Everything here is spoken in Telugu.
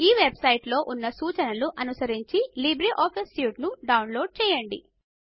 ఈ వెబ్ సైట్ లో ఉన్న సూచనలను అనుసరించి లిబ్రేఆఫీస్ సూట్ ను డౌన్లోడ్ చెయ్యండి